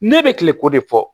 Ne bɛ kileko de fɔ